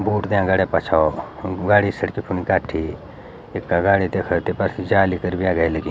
बूट त्यां गाडीयां पछौ गाडी सड़की फुन गाठी इथ्गा गाडी देखा तेफर जाली फिर भी अगे लगी।